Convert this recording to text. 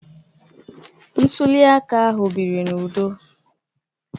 Ntuli aka ahụ biri n'udo